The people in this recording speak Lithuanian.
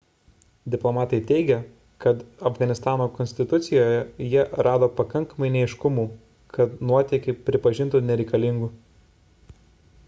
diplomatai teigė kad afganistano konstitucijoje jie rado pakankamai neaiškumų kad nuotėkį pripažintų nereikalingu